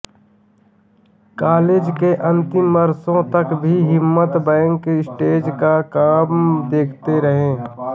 college के अंतिम वर्षों तक भी हिम्मत बैक स्टेज का काम देखते रहे